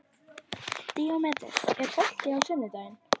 Díómedes, er bolti á sunnudaginn?